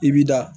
I bi da